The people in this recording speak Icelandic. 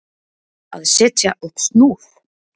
Að setja upp snúð